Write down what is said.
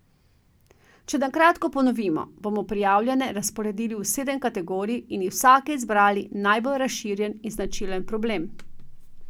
Če na kratko ponovimo, bomo prijavljene razporedili v sedem kategorij in iz vsake izbrali najbolj razširjen in značilen problem.